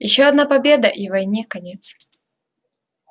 ещё одна победа и войне конец